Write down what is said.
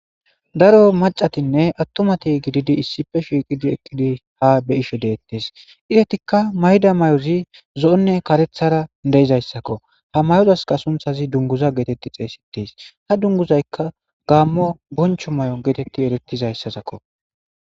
Daro macatinne attomati gididi issife shiiqidi eqqidi ha be ishe deettes idetikka mayda may7ozi zo7onne karethara deizayssakko ha mayozaska sunthazi dunguza geetetti xeesites ha dunguzaykka gaammo boncho may7o geetetti eretizayssasakko